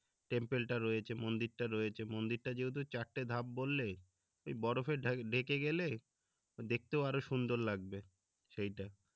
temple টা রয়েছে মন্দির টা রয়েছে মন্দির টার যেহেতু চারটে ধাপ বললে বরফে ঢেকে গেলে দেখতেও আরো সুন্দর লাগবে সেইটা